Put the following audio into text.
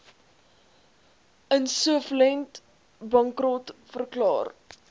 insolvent bankrot verklaar